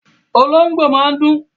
Olóhóngbò máa ń dún